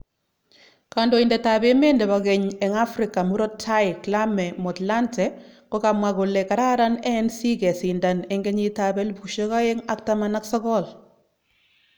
Kondoidet ab emet nebo keny eng Africa murot tai Kglame Motlanthe kokamwa kole kararan ANC kesindan 2019.